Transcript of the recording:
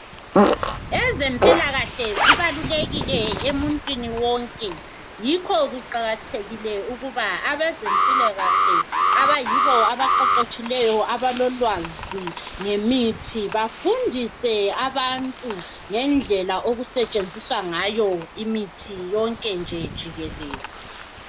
Ezempilakahle zibalulekile emuntwini wonke yikho kuqakathekile ukuba abezempilakahle abayibo abaqeqetshileyo abalolwazi ngemithi bafundise abantu ngendlela okusetshenziswa ngayo imithi yonke nje jikelele.